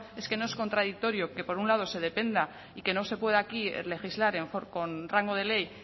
es que nos es contradictorio que por un lado se dependa y que no se pueda aquí legislar con rango de ley